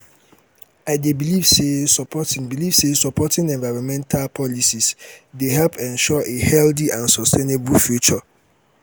i dey believe say supporting believe say supporting environmental policies dey help ensure a healthy and sustainable future.